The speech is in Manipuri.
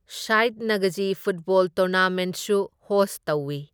ꯁꯥꯢꯠ ꯅꯥꯒꯖꯤ ꯐꯨꯠꯕꯣꯜ ꯇꯣꯔꯅꯥꯃꯦꯟꯠꯁꯨ ꯍꯣꯁ ꯇꯧꯏ꯫